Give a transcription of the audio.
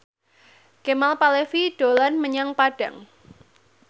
Kemal Palevi dolan menyang Padang